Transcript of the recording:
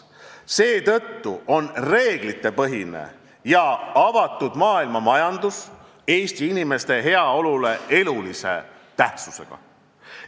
Seetõttu on reeglitepõhine ja avatud maailmamajandus Eesti inimeste heaolule elulise tähtsusega.